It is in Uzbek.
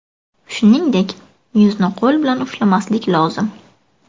Shuningdek, yuzni qo‘l bilan ushlamaslik lozim.